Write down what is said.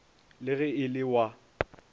le ge e le wa